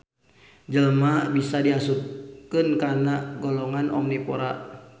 Jelma bisa diasupken kana golongan omnivora